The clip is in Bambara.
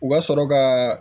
U ka sɔrɔ ka